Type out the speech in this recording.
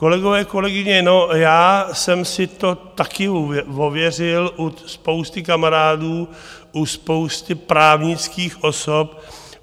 Kolegové, kolegyně, no, já jsem si to také ověřil u spousty kamarádů, u spousty právnických osob.